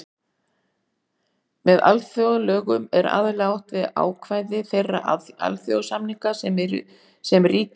Með alþjóðalögum er aðallega átt við ákvæði þeirra alþjóðasamninga sem ríki eru aðilar að.